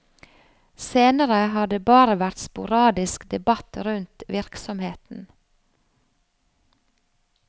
Senere har det bare vært sporadisk debatt rundt virksomheten.